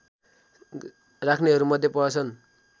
राख्नेहरूमध्ये पर्दछन्